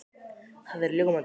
Það er ljómandi gott!